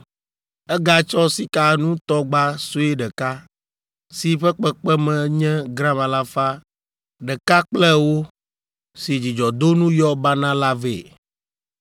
Egatsɔ sikanutɔgba sue ɖeka, si ƒe kpekpeme nye gram alafa ɖeka kple ewo, si dzudzɔdonu yɔ banaa la vɛ.